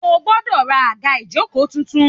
O gbọ́dọ̀ ra àga ìjókòó tuntun